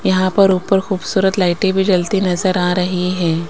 यहां पर ऊपर खूबसूरत लाइटे भी जलती नजर आ रही हैं।